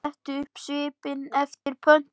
Setur upp svip eftir pöntun.